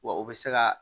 Wa o bɛ se ka